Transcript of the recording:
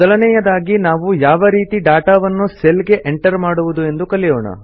ಮೊದಲನೇಯದಾಗಿ ನಾವು ಯಾವ ರೀತಿ ಡಾಟಾ ವನ್ನು ಸೆಲ್ ಗೆ ಎಂಟರ್ ಮಾಡುವುದು ಎಂದು ಕಲಿಯೋಣ